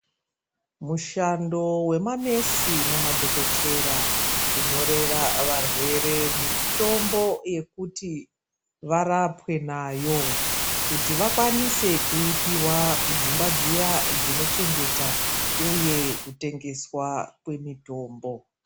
Mushando wemanesi nemadhokodheya ,kunyorera varwere mitombo yekuti varapwe nayo. Kuti vakwanise kuipihwa kudzimba dziya dzinochengeta uye kutengesa mitombo.